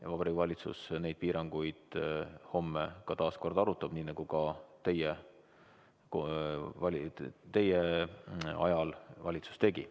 Ja Vabariigi Valitsus neid piiranguid homme taas kord arutab, nii nagu ka teie ajal valitsus tegi.